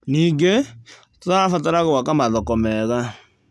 Ningĩ, tũrabatara gwaka mathoko mega.